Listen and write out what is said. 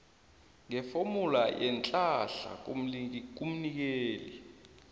ngefomula yeenhlahla kumnikeli